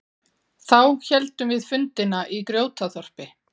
Þá héldum við fundina í Grjótaþorpi.